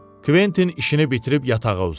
Kventin işini bitirib yatağa uzandı.